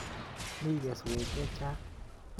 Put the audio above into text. Mi keswek che chang'